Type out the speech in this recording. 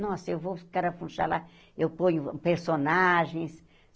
Nossa, eu vou no carafunchalá, eu ponho personagens.